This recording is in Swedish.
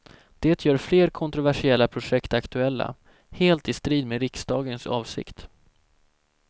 Det gör fler kontroversiella projekt aktuella, helt i strid med riksdagens avsikt.